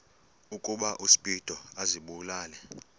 ukuba uspido azibulale